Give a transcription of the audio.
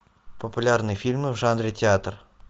популярные фильмы в жанре театр